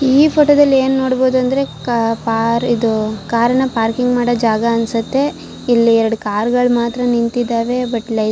ಈ ಫೋಟೋ ದಲ್ಲಿ ಏನು ನೋಡಬೋದು ಅಂದ್ರೆ ಕಾ ಪಾ ಇದು ಕಾರ್ ನ ಪಾರ್ಕಿಂಗ್ ಮಾಡೋ ಜಾಗ ಅನ್ಸುತ್ತೆ ಇಲ್ಲಿ ಎರಡು ಕಾರ್ ಗಳು ಮಾತ್ರ ನಿಂತಿದ್ದಾವೆ ಬಟ್